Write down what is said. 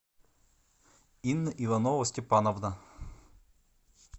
инна иванова степановна